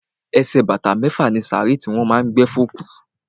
Ẹsẹ̀ bàtà mẹ́fà ni sàárè tí wọ́n má a ń gbé fún òkú.